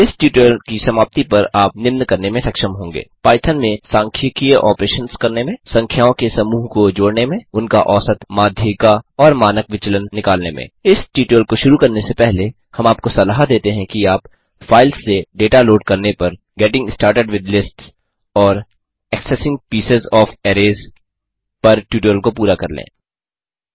इस ट्यूटोरियल की समाप्ति पर आप निम्न करने में सक्षम होंगे पाइथन में सांख्यिकीय ऑपरेशंस करने में संख्याओं के समूह को जोड़ने में उनका औसत माध्यिका और मानक विचलन निकालने में इस ट्यूटोरियल को शुरू करने से पहले हम आपको सलाह देते हैं कि आप फाइल्स से डेटा लोड करने पर गेटिंग स्टार्टेड विथ लिस्ट्स और एक्सेसिंग पीसेस ओएफ अरेज पर ट्यूटोरियल को पूरा कर लें